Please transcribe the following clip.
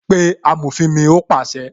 "Pé amòfin mi "ó pàṣẹ